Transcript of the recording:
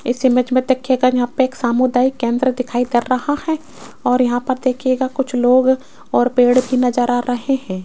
इस इमेज मे देखियेगा यहां पे एक सामुदायिक केंद्र दिखाई दे रहा है और यहां पर देखियेगा कुछ लोग और पेड़ भी नज़र आ रहे हैं।